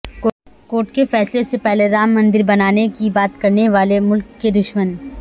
court کے فیصلے سے پہلے رام مندر بنانے کی بات کرنے والے ملک کے دشمن